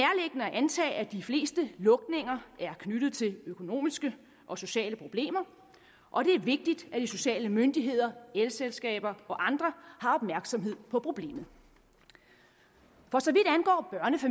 antage at de fleste lukninger er knyttet til økonomiske og sociale problemer og det er vigtigt at de sociale myndigheder elselskaber og andre har opmærksomhed på problemet for så